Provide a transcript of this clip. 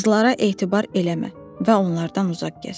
Qızlara etibar eləmə və onlardan uzaq gəz.